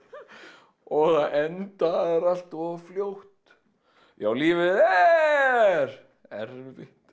og það endar allt of fljótt já lífið er erfitt